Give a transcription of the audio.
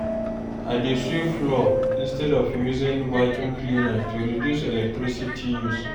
I dey sweep floor instead of using vacuum cleaner to reduce electricity use.